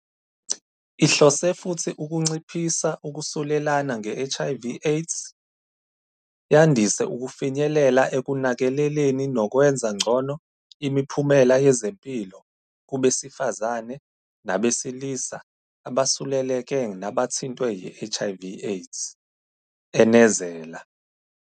"Ihlose futhi ukunciphisa ukusulelana nge-HIV - AIDS, yandise ukufinyelela ekunakekeleleni nokwenza ngcono imiphumela yezempilo kubesifazane nabesilisa abasuleleke nabathintwe yi-HIV - AIDS," enezela.